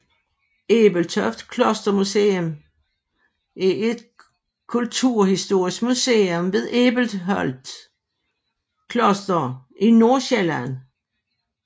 Æbelholt Klostermuseum er et kulturhistorisk museum ved Æbelholt Kloster i Nordsjælland